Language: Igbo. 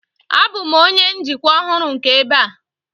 Abụ m onye njikwa ọhụrụ nke ebe a.